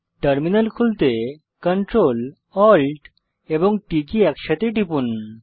terminal খুলতে CTRLALTT একসাথে টিপুন